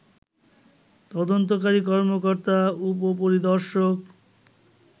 তদন্তকারী কর্মকর্তা উপপরিদর্শক